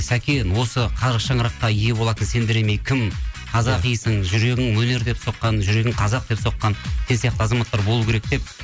сәкен осы қара шаңыраққа ие болатын сендер емей кім қазақисің жүрегің өнер деп соққан жүрегің қазақ деп соққан сен сияқты азаматтар болу керек деп